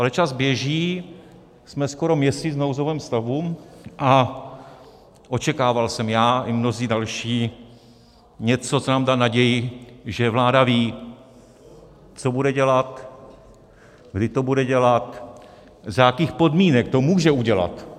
Ale čas běží, jsme skoro měsíc v nouzovém stavu a očekával jsem já i mnozí další něco, co nám dá naději, že vláda ví, co bude dělat, kdy to bude dělat, za jakých podmínek to může udělat.